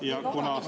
Ja kuna …